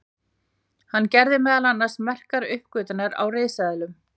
hann gerði meðal annars merkar uppgötvanir á risaeðlum